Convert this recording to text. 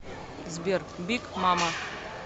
сбер биг мама